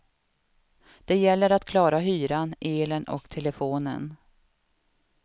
Det gäller att klara hyran, elen och telefonen.